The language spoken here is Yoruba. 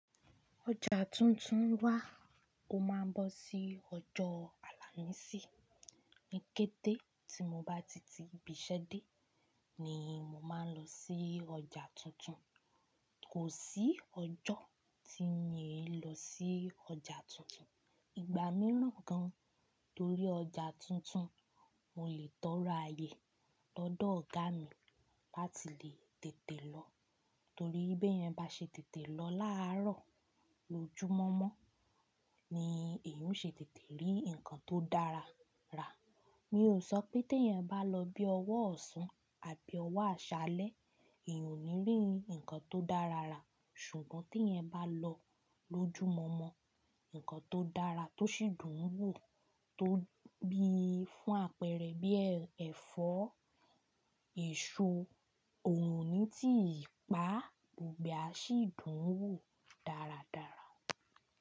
Ọjà tuntun wà, ó máa ń bọ́ sí ọjọ́ àlàmísì. Ni kété tí mo bá ti ti ibiṣẹ́ dé ni màá lọ sí ọjà tuntun. Kò sí ọjọ́ tí mi i lọ sí ọjà tuntun. Ìgbà mìíràn gan, torí ọjà tuntun, mo lè tọrọ ayé lọ́dọ̀ ọ̀gá mi láti lè tètè lọ. Torí bí ẹ yẹn bá ṣe tètè lọ láàárọ̀ lójúmọmọ ni èyan ó ṣe tètè rí nǹkan tó dára rà. Mi ò sọ pé tí eyan bá lọ bí ọwọ́ ọ̀sán àbí ọwọ́ àṣálẹ́, èyan ò ní rí nǹkan tó dára rà. Ṣùgbọ́n tí eyan bá lọ lójúmọmọ, nǹkan tó dára tó sì dùn ún wò tó bí i fún àpẹẹrẹ bí i ẹ̀fọ́, èso òrun ò ní ti ìpá, gbogbo ẹ sì dùn ún wò dáradára.